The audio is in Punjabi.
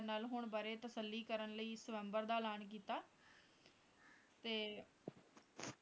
ਨਾਲ ਹੁਣ ਬਾਰੇ ਤਸੱਲੀ ਕਰਨ ਲਈ ਸ੍ਵਯੰਬਰ ਦਾ ਐਲਾਨ ਕੀਤਾ ਤੇ